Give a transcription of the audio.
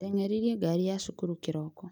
Ndeng'eririe ngari ya cukuru kĩroko